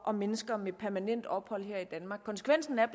og mennesker med permanent ophold her i danmark konsekvensen er